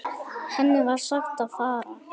Henni var sagt að fara.